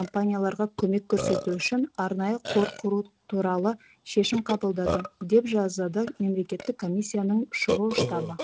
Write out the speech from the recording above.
компанияларға көмек көрсету үшін арнайы қор құру туралы шешім қабылдады деп жазады мемлекеттік комиссияның шұғыл штабы